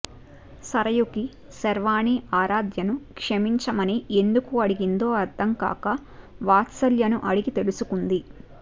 సరయుకి శార్వాణి ఆరాధ్యను క్షమించమని ఎందుకు అడిగిందో అర్థంకాక వాత్సల్యను అడిగి తెలుసుకుంది